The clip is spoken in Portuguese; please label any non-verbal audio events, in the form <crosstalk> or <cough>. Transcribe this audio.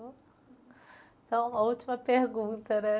<unintelligible> Então, a última pergunta, né?